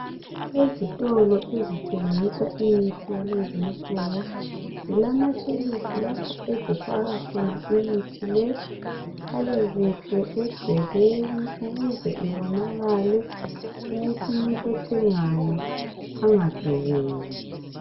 Ezitolo ezithengisa imithi yalezinsuku zilama tshelufu lapho ezifaka khona imithi le ihlale kuhle egcekeni ukuze ibonakale ukuthi umuntu othengayo angadubeki